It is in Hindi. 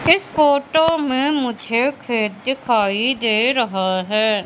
इस फोटो में मुझे खेत दिखाई दे रहा है।